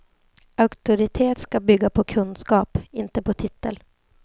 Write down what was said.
Auktoritet skall bygga på kunskap, inte på titel.